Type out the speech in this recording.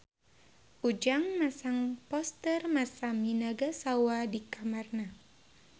Ujang masang poster Masami Nagasawa di kamarna